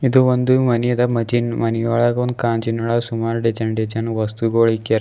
ಇದು ಒಂದು ಮನೆಯದ ಮನೆಯೊಳಗೊಂದು ಗಾಜಿನ್ ಒಳ ಸುಮಾರ್ ಡಿಸೈನ್ ಡಿಸೈನ್ ವಸ್ತುಗೊಳು ಇಕ್ಯಾರ.